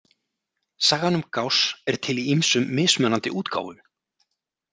Sagan um Gauss er til í ýmsum mismunandi útgáfum.